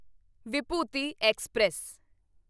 Vibhuti express